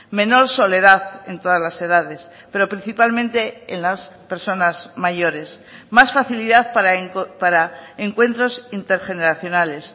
menor soledad en todas las edades pero principalmente en las personas mayores más facilidad para encuentros intergeneracionales